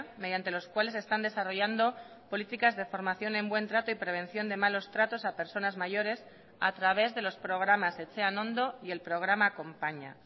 mediante los cuales están desarrollando políticas de formación en buen trato y prevención de malos tratos a personas mayores a través de los programas etxean ondo y el programa acompaña